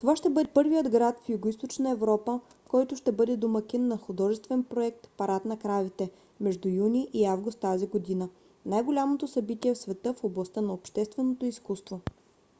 това ще бъде първият град в югоизточна европа който ще бъде домакин на художествен проект парад на кравите между юни и август тази година най - голямото събитие в света в областта на общественото изкуство